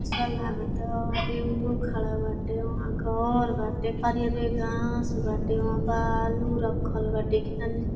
अस्सा लागत। टेंपू खड़ा बाटे। वहाँ घर बाटे। हरी हरी घास बाटे। वहाँ बालू रखल बाटे। केतना निक --